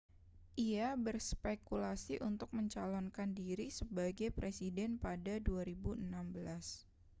ia berspekulasi untuk mencalonkan diri sebagai presiden pada 2016